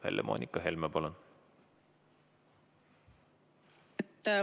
Helle-Moonika Helme, palun!